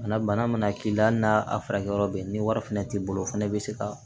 Na bana mana k'i la hali n'a furakɛyɔrɔ bɛ yen ni wari fɛnɛ t'i bolo o fana bɛ se ka